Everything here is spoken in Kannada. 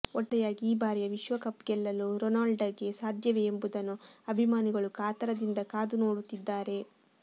ಒಟ್ಟಾರೆಯಾಗಿ ಈ ಬಾರಿಯ ವಿಶ್ವಕಪ್ ಗೆಲ್ಲಲು ರೊನಾಲ್ಡೊಗೆ ಸಾಧ್ಯವೇ ಎಂಬುದನ್ನು ಅಭಿಮಾನಿಗಳು ಕಾತರದಿಂದ ಕಾದು ನೋಡುತ್ತಿದ್ದಾರೆ